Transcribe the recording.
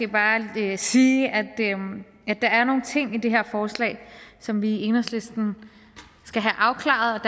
bare sige at der er nogle ting i det her forslag som vi i enhedslisten skal have afklaret